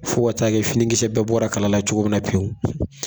Fo ka taa kɛ finikisɛ bɛɛ bɔra kala la cogo min na pewu